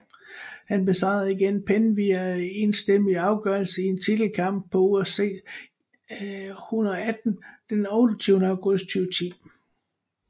Han besejrede igen Penn via enstemmig afgørelse i en titelkamp på UFC 118 den 28 august 2010